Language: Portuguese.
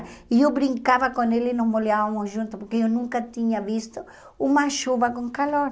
E eu brincava com ele e nos molhávamos juntos, porque eu nunca tinha visto uma chuva com calor.